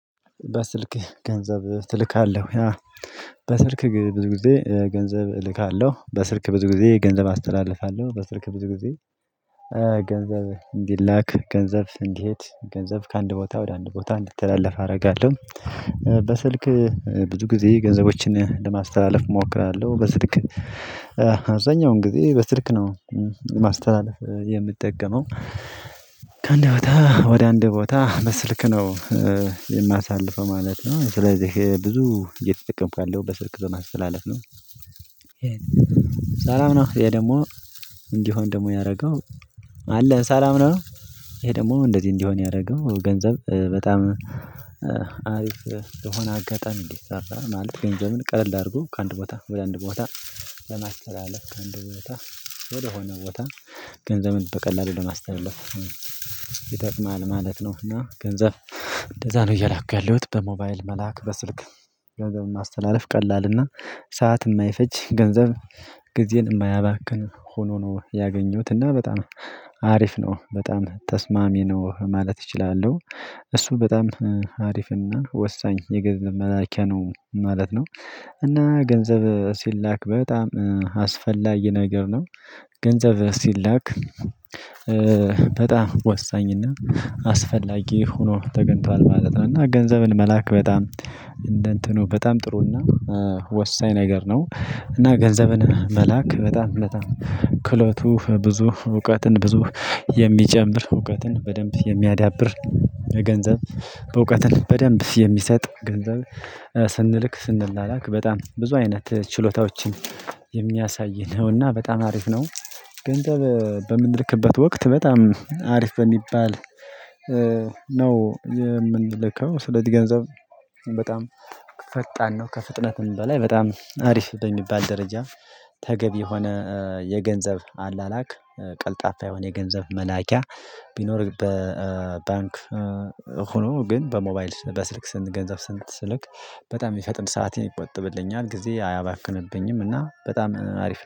በስልክህ ገንዘብ ትልካለህ? በስልክ ብዙ ጊዜ ገንዘብ እልካለሁ በስልክ ብዙ ጊዜ ገንዘብ አስተላልፋለሁ በስልክ ብዙ ጊዜ ገንዘብ እንዲላክ ገንዘብ እንዲሄድ ገንዘብ ከአንድ ቦታ ወደ አንድ ቦታ እንዲትላለፍ አረጋለሁ። በስልክ ብዙ ጊዜ ገንዘቦችን ለማስተላለፍ እሞክራለሁ። በስልክ አብዛኛውን ጊዜ በስልክ ነው ማስተላለፍ የምጠቀመው ከአንድ ቦታ ወደ አንድ ቦታ በስልክ ነው የማሳልፈው ማለት ነው ስለዚህ ብዙ እየተጠቀምኩ ያለው በስልክ ለማስትላለፍ ነው። ሳላም ነው ይሄ ደግሞ እንዲሆን ደግሞ ያደረገው አለ ሰላም ነው። ይሄ ደግሞ እንደዚህ እንዲሆን ያደረገው ገንዘብ በጣም አሪፍ የሆና አጋጣሚ እንዲሰራ ማለት ገንዘብን ቀለል አድርጎ ከአንድ ቦታ ወደ አንድ ቦታ ለማስተላለፍ ከአንድ ቦታ ወደ ሆነ ቦታ ገንዘብን በቀላሉ ለማስተላለፍ ይጠቅማል ማለት ነው። እና ገንዘብ እንደዛ ነው እየላኩ ያለሁት በሞባይል መላክ በስልክ ገንዘብን ማስተላለፍ ቀላልና ሰዓት ማይፈጅ ገንዘብ ጊዜን እማያባክን ሆኖ ነው ያገኘሁት። እና በጣም አሪፍ ነው በጣም ተስማሚ ነው ማለት እችላለሁ። እሱ በጣም አሪፍና ወሳኝ የገንዘብ መላኪያ ነው ማለት ነው። እና ገንዘብ ሲላክ በጣም አስፈላጊ ነገር ነው። ገንዘብ ሲላክ በጣም ወሳኝና አስፈላጊ ሆኖ ተገንቷል ማለት ነው። እና ገንዘብን መላክ በጣም እንደ እንትኑ በጣም ጥሩና ወሳኝ ነገር ነው። እና ገንዘብን መላክ በጣም በጣም ክሎቱ ብዙ እውቀትን ብዙ የሚጨምር እውቀትን በደንብ የሚያዳብር ገንዘብ በእውቀትን በደንብ የሚሰጥ ገንዘብ ስንልክ ስንላላክ በጣም ብዙ አይነት ችሎታዎችን የሚያሳይ ነውና በጣም አሪፍ ነው። ገንዘብ በምንልክበት ወቅት በጣም አሪፍ በሚባል ነው የምንልከው ስለዚህ ገንዘብ በጣም ፈጣን ነው። ከፍጥነትም በላይ በጣም አሪፍ በሚባል ደረጃ ተገቢ የሆነ የገንዘብ አላላክ ቀልጣፋ የሆነ የገንዘብ መላኪያ ቢኖር በባንክ ሆኖ ግን በሞባይል በስልክ ስንት ገንዘብ ስንት ስልክ በጣም የሚፈጥን ሰዓት ይቆጠብልኛል ጊዜ አያባክንብኝም እና በጣም አሪፍ ነው